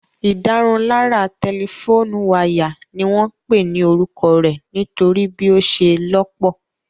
Ìdárunlárà tẹlifóònù wáyà ni wọ́n pè ní orúkọ rẹ̀ nítorí bí ó ṣe lọ́pọ̀